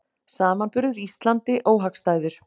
Samanburður Íslandi óhagstæður